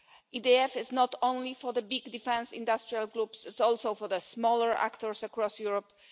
caps. The EDF is not only for the big defence industrial groups, it is also for the smaller actors across Europe.